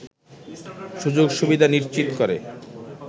সুযোগ সুবিধা নিশ্চিত করে